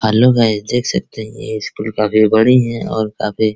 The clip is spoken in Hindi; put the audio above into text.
हल्लो गाइस देख सकते है ये स्कूल काफी बड़ी है और काफी --